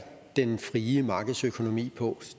den frie markedsøkonomi på